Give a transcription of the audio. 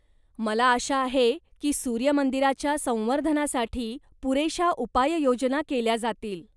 मला आशा आहे की सूर्य मंदिराच्या संवर्धनासाठी पुरेशा उपाययोजना केल्या जातील.